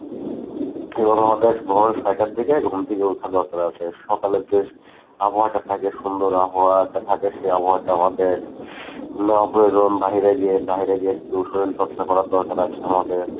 এবং আমাদের ভোর ছয়টার দিকে ঘুম থেকে ওঠা দরকার আছে। সকালের যে আবহাওয়াটা থাকে সুন্দর আবহাওয়াটা থাকে সেই আবহাওয়াটা আমাদের নেওয়া প্রয়োজন বাহিরে গিয়ে বাহিরে গিয়ে একটু শরীর চর্চা করার দরকার আছে আমাদের।